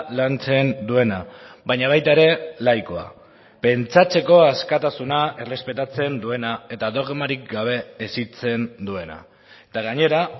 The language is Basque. lantzen duena baina baita ere laikoa pentsatzeko askatasuna errespetatzen duena eta dogmarik gabe hezitzen duena eta gainera